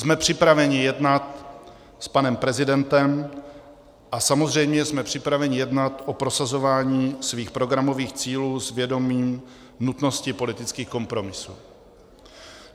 Jsme připraveni jednat s panem prezidentem a samozřejmě jsme připraveni jednat o prosazování svých programových cílů s vědomím nutnosti politických kompromisů.